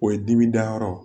O ye dimi da yɔrɔ